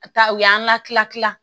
Taa u y'an latilaki